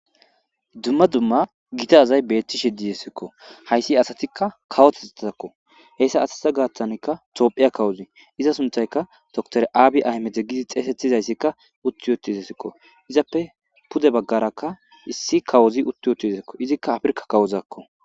dumma dumma gitaasay beettishe didesikko hayssi asatikka kawotezetatakko heyssa asatita gaattankka toophiya kawuzi iza suntayka dotor aabi ahmede gidi xeesetizayssikka utti yotizesikko izappe pude baggarakka issi kawuzi utti yotizakko izikka afirka kawuzakko